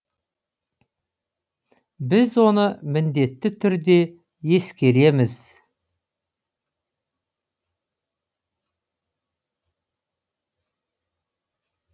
біз оны міндетті түрде ескереміз